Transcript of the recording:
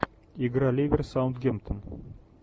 игра ливер саутгемптон